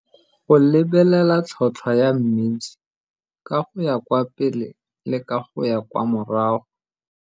Go lebelela tlhotlhwa ya mmidi ka go ya kwa pele le ka go ya kwa morago.